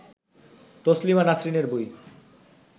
তসলিমা নাসরিন এর বই